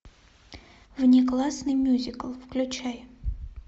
внеклассный мюзикл включай